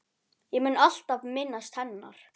Ég mun alltaf minnast hennar.